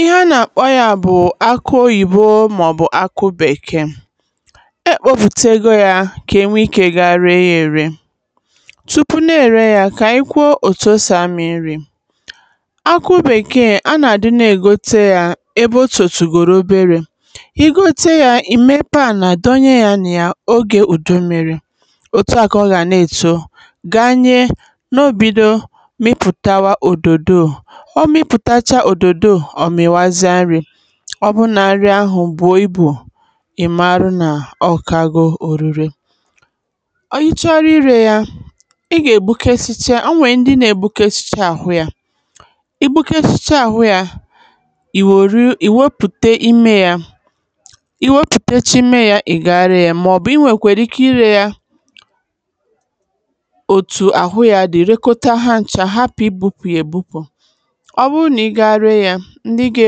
ihe a na-akpọ ya bụ̀ akụ oyìbo mà ọ̀bụ̀ akụ bèkee e kpopùtegō ya kà enwe ikē ga ree yā ere chukwu na-ère ya kà anyi kwuo òtù osì amị̀ nrī akụ bekee a nà àdị na-ègote ya ebe otòtụ̀godị̀rị̀ oberē igote yā ìmepe ànà donye a nà ya ogè udu mmīrī òtu à kà ọ gà na-èto gaa nye n’obido mịpụ̀tawá òbòdo ọ mịpụ̀tàchaa òdòdo ọ̀ mìwazia nrī ọbụrụ nà nri ahụ̀ bue ibù ị̀marụ nà ọ kago oruru anyi chọrọ irē ya ị gà ègbukesicha o nwèrè ndị na egbukesicha ahụ yā igbukesicha ahụ ya ìwòrụ ìwepụ̀ta ime yā iwopùtechee ime yā ị̀ ga ree ya mà ọ̀bụ̀ inwèkwara ike irē ya otu àhụ ya dị̀ reekọta ha ncha hapụ̀ igbupù ya egbupù ọbụrụ nà ị ga ree yā ndị ga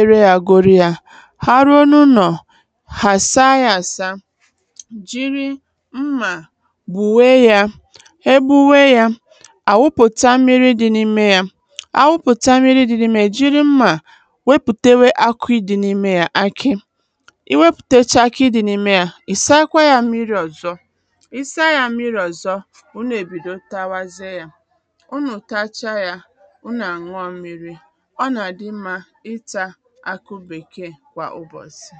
ere yā agụrụ yā ha ruo na ụnọ̀ hà àsaa ya asaa jiri nmà gbùwe yā egbuwe jā àwụpụ̀ta mmirī dị n'’mē ya awụpụ̀ta mmirī dị n'’mē ya è jiri mmà wepùtèwe akụ ịdī n'ime yā akị iwepùtèche akị dị na ime yā ị̀sakwa ya mmirī ọ̀zọ isaa yā mmirī ọ̀zọ unù èbido tawazie yā unù tachaa yā unù àṅụọ mmirī ọ nà àdị nmā ịtā akụ bèkee kwà ụbọ̀sị̀